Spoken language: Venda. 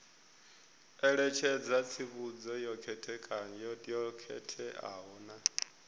ṋetshedza tsivhudzo yo khetheaho na